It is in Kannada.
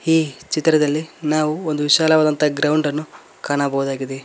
ಈ ಚಿತ್ರದಲ್ಲಿ ನಾವು ಒಂದು ವಿಶಾಲವಾದಂತಹ ಗ್ರೌಂಡ್ ಅನ್ನು ಕಾಣಬಹುದಾಗಿದೆ.